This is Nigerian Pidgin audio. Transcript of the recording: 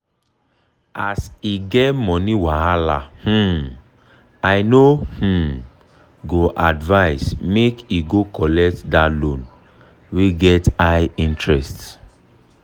as e get money wahala um i no um go advise make e go collect that loan wey get high interest.